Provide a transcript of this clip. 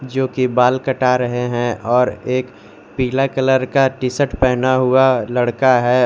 जोकि बाल कटा रहे है और एक पीला कलर का टी शर्ट पहना हुआ लड़का है।